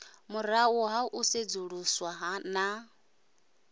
murahu ha u sedzuluswa na